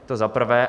To za prvé.